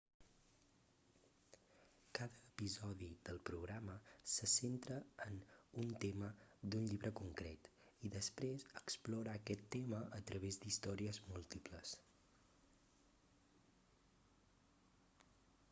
cada episodi del programa se centra en un tema d'un llibre concret i després explora aquest tema a través d'històries múltiples